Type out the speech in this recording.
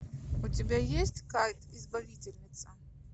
у тебя есть кайт избавительница